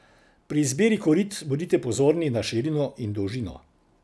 Pri izbiri korit bodite pozorni na širino in dolžino.